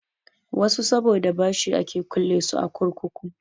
Wasu saboda bashi ake kulle su a kurkuku.